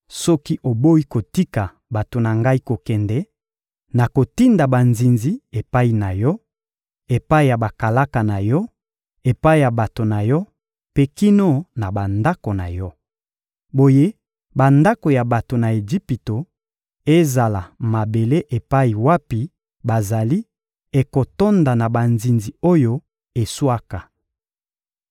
Soki oboyi kotika bato na Ngai kokende, nakotinda banzinzi epai na yo, epai ya bakalaka na yo, epai ya bato na yo mpe kino na bandako na yo. Boye bandako ya bato na Ejipito, ezala mabele epai wapi bazali, ekotonda na banzinzi oyo eswaka.